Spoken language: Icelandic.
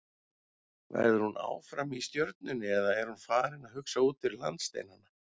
Verður hún áfram í Stjörnunni eða er hún farin að hugsa út fyrir landsteinana?